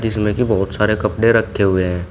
इसमें की बहोत सारे कपड़े रखे हुए हैं।